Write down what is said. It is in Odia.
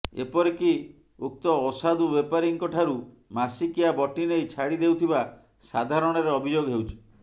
ଏପରିକି ଉକ୍ତ ଅସାଧୁ ବେପାରୀଙ୍କଠାରୁ ମାସିକିଆ ବଟି ନେଇ ଛାଡିଦେଉଥିବା ସାଧାରଣରେ ଅଭିଯୋଗ ହେଉଛି